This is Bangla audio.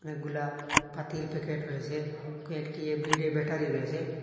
পাতির প্যাকেট রয়েসে কয়েকটি এভরিডে ব্যাটারি রয়েসে।